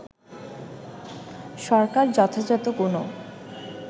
সরকার যথাযথ কোনো